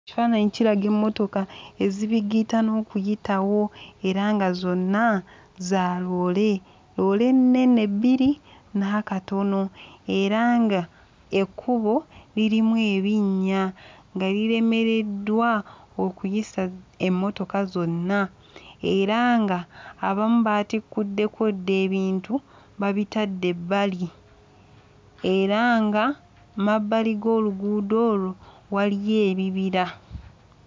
Kifaananyi kiraga emmotoka ezibigiitana okuyitawo era nga zonna za loole. Loole ennene bbiri n'akatono era nga ekkubo lirimu ebinnya nga liremereddwa okuyisa emmotoka zonna era nga abamu baatikkuddeko dda ebintu babitadde ebbali era nga mmabbali g'oluguudo olwo waliyo ebibira.